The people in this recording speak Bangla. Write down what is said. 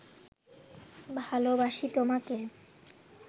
ভালবাসি তোমাকে